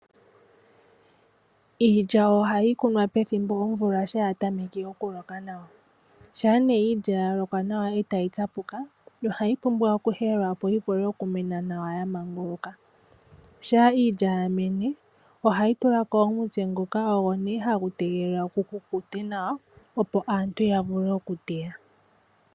Iilya ohayi kunwa pethimbo lyomvula shampa ya tameke okuloka nawa ,shampa nee iilya ya lokwa nawa etayi tsapuka ohayi pumbwa oku helelwa opo yivule oku mena nawa ya manguluka. Shampa iilya yamene ohayi tulako omutse ngoka hagu tegelelwa gu kukute nawa opo aantu yavule okuteya.